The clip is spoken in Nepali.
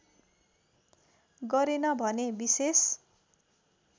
गरेन भने विशेष